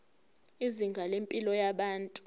izinga lempilo yabantu